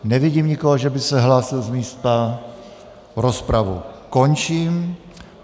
Nevidím nikoho, že by se hlásil z místa, rozpravu končím.